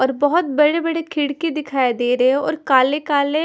और बहोत बड़े-बड़े खिड़की दिखाई दे रहे हैं और काले-काले--